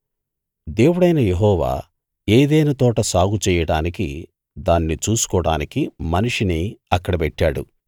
దేవుడైన యెహోవా ఏదెను తోట సాగు చెయ్యడానికీ దాన్ని చూసుకోడానికీ మనిషిని అక్కడ పెట్టాడు